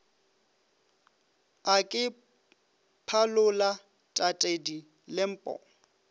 a ke phalola tatedi lempo